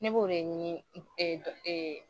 Ne b'o de ɲini